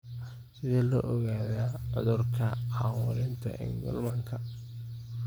Sidee lagu ogaadaa cudurka Camuratika Engelmannka?